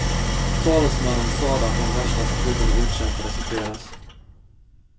Talesmannen sade att de värsta striderna utkämpades i fredags.